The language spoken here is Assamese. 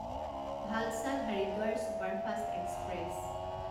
Valsad Haridwar superfast express